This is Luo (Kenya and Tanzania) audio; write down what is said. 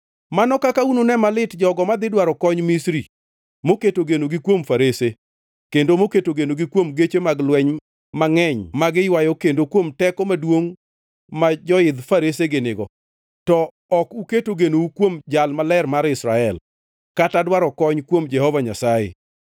Mano kaka unune malit, jogo madhi dwaro kony Misri, moketo genogi kuom farese, kendo moketo genogi kuom geche mag lweny mangʼeny magiywayo, kendo kuom teko maduongʼ ma joidh faresegi nigo, to ok uketo genou kuom Jal Maler mar Israel, kata dwaro kony kuom Jehova Nyasaye.